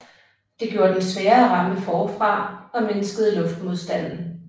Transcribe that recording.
Det gjorde den sværere at ramme forfra og mindskede luftmodstanden